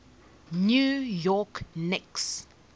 new york knicks